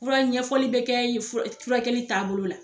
Furara ɲɛfɔli be kɛ ye furakɛli taa bolo la